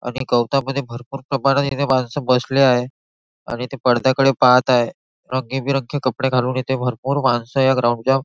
आणि गवतामध्ये भरपूर कपाट आणि इथे माणसं बसले आहे आणि ते पडद्याकडे पाहत आहे रंगीबेरंगी कपडे घालून इथे भरपूर माणसं या ग्राउंड चाव--